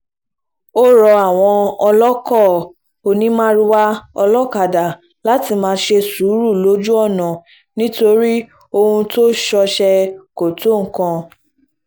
ó rọ àwọn olóko onímàrúwá olókadá láti máa ṣe sùúrù lójú ọ̀nà nítorí ohun tó ń ṣọṣẹ́ kò tó nǹkan